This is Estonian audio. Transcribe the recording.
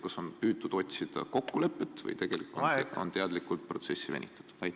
Kas on püütud otsida kokkulepet või on teadlikult protsessi venitatud?